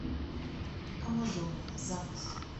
амазония запись